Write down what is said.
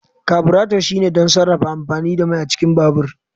kaburato shine don sarrafa amfani da mai a cikin babur